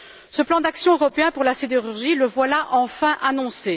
Ce plan d'action européen pour la sidérurgie, le voilà enfin annoncé.